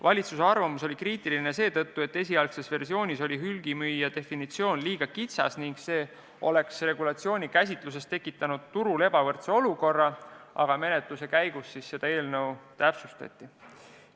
Valitsuse arvamus oli kriitiline seetõttu, et esialgses versioonis oli hulgimüüja definitsioon liiga kitsas ning see oleks regulatsiooni tõlgenduses tekitanud turul ebavõrdse olukorra, aga menetluse käigus seda eelnõu täpsustati.